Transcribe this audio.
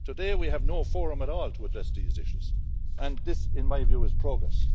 Today we have no forum at all to address these issues, and this, in my view, is progress.